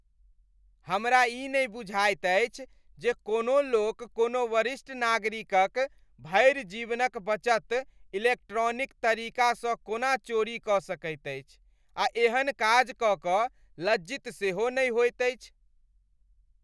हमरा ई नै बुझाइये अछि जे कोनो लोक कोनो वरिष्ठ नागरिक क भरि जीवन क बचत इलेक्ट्रॉनिक तरीका सँ कोना चोरी कऽ सकैत अछि आ एहन काज कऽ कऽ लज्जित सेहो नै होइत अछि।